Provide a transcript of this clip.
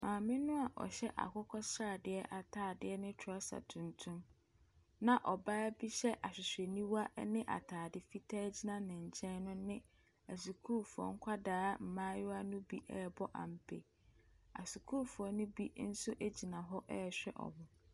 Maame no a ɔhyɛ akokɔsadeɛ atadeɛ ne trɔsa tuntum, na ɔbaa bi hyɛ ahwehwɛniwa ne atade fitaa gyina ne nkyɛn no ne asukufoɔ nkwadaa mmaayewa no bi rebɔ ampe. Asukuufoɔ no nso bi gyina hɔ rehwɛ wɔn.